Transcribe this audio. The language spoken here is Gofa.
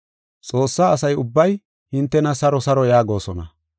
Xoossaa asa ubbay hintena saro saro yaagosona.